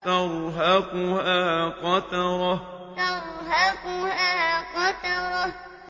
تَرْهَقُهَا قَتَرَةٌ تَرْهَقُهَا قَتَرَةٌ